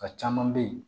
A caman bɛ ye